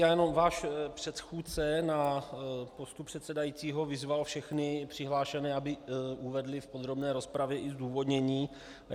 Já jenom - váš předchůdce na postu předsedajícího vyzval všechny přihlášené, aby uvedli v podrobné rozpravě i zdůvodnění.